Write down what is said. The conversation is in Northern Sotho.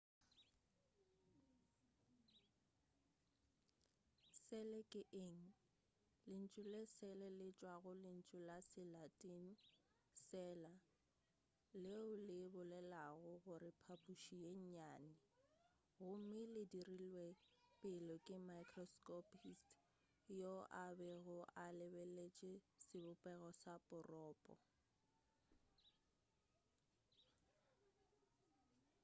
sele ke eng lentšu le sele le tšwa go lentšu la se latin cella leo le bolelago gore phaphuši ye nnyane gomme le dirilwe pele ke microscopist yo a bego a lebeletše sebopego sa poropo